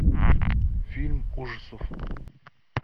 фильм ужасов